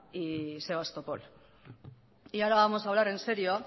y sebastopol y ahora vamos a hablar en serio